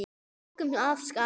Við tókum af skarið.